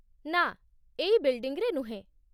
ନା, ଏଇ ବିଲ୍ଡିଂରେ ନୁହେଁ ।